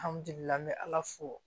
Alihamdulila an be ala fo